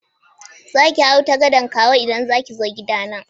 Za ki hau ta gadan Kawo idan za ki zo gidana.